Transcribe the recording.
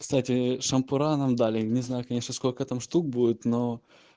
кстати шампура нам дали не знаю конечно сколько там штук будет но